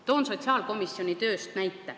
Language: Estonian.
Toon näite sotsiaalkomisjoni tööst.